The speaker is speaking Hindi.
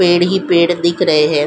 पेड़ ही पेड़ दिख रहे हैं ।